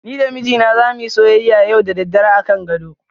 Ni da mijina zamu yi soyyaya da daddare yau akan gado.